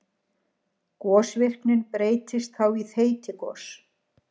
Gosvirknin breytist þá í þeytigos.